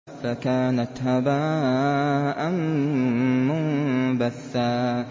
فَكَانَتْ هَبَاءً مُّنبَثًّا